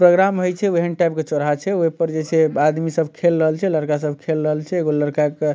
programme होये छे वही टाइप के चौराहा छे ओये पर छे आदमी सब खेल रहले छे लड़का सब खेल रहले छे एगो लड़का के --